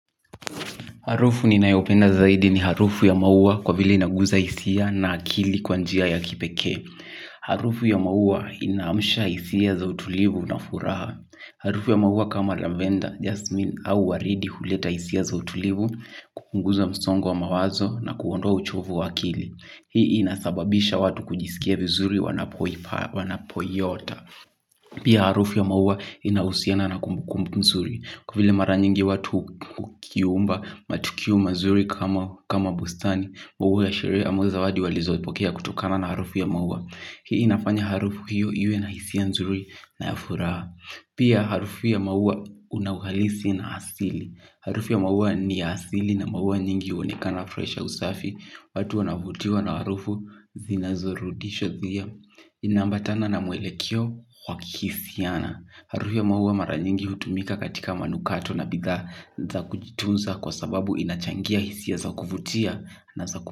Harufu ninayopenda zaidi ni harufu ya maua kwa vile inaguza hisia na akili kwa njia ya kipekee. Harufu ya maua inaamsha hisia za utulivu na furaha. Harufu ya maua kama lavenda, jasmin au waridi huleta hisia za utulivu, kupunguza msongo wa mawazo na kuondoa uchovu wa akili. Hii inasababisha watu kujisikia vizuri wanapoiota. Pia harufu ya maua inahusiana na kumbukumbu nzuri. Kwa vile mara nyingi watu hukiumba matukio mazuri kama bustani, maua ya sherehe ama zawadi walizopokea kutokana na harufu ya maua. Hii inafanya harufu hiyo iwe na hisia nzuri na ya furaha. Pia harufu ya maua una uhalisi na asili. Harufu ya maua ni asili na maua nyingi huonekana fresha usafi. Watu wanavutiwa na harufu zinazorudisha dhia. Inaambatana na mwelekeoo wa kihisiana. Harufu ya maua mara nyingi hutumika katika manukato na bidhaa za kujitunza kwa sababu inachangia hisia za kuvutia na za ku.